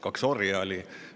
Kaks orja olid.